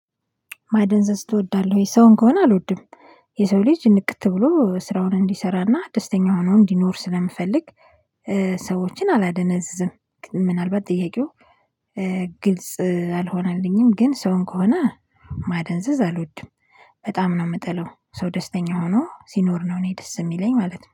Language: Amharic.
ማደንዘዝ ትወዳለህ ወይ? ሰውን ከሆነ አልወድም የሰው ልጅ ንቅት ብሎ ስራውን እንዲሰራና ደስተኛ ሆኖ እንዲኖር ስለምፈልግ ሰዎችን አላደነዝዝም። ምናልባት ጥያቄው ግልጽ አልሆነልኝም። ግን ሰውን ከሆነ ማደንዘዝ አልወድም። በጣም ነው ምጠላው ሰው ደስተኛ ሆኖ ሲኖር ነው እኔ ደስ እሚለኝ ማለት ነው